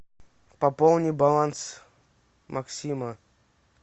пополни баланс максима